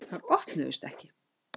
Þær opnuðust ekki.